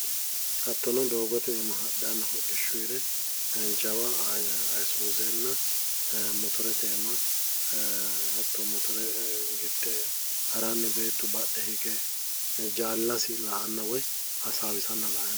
Hattono doogote iima hadhanna hodhishhshuyire jawa ayisuuzenna motorete iima hatto motore gidde haranni beetu badhe hige jaallasi la"anna woyi hasaawisanna la"ayi noommo.